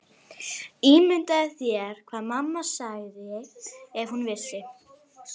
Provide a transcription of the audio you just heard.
Ímyndaðu þér hvað mamma segði ef hún vissi.